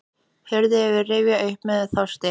Hurðin var rifin upp með þjósti.